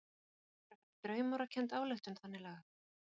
Er þetta ekki frekar draumórakennd ályktun þannig lagað?